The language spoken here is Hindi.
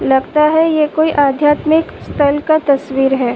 लगता है यह कोई आध्यात्मिक स्थल का तस्वीर है।